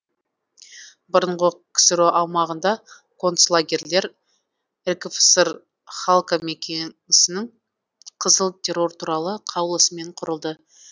бұрынғы ксро аумағында концлагерлер ркфср халкомкеңесінің қызыл террор туралы қаулысымен құрылды